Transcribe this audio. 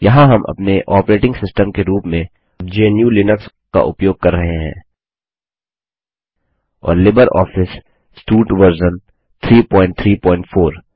यहाँ हम अपने ऑपरेटिंग सिस्टम के रूप में GNUलिनक्स का उपयोग कर रहे हैं और लिबर ऑफिस सूट वर्जन 334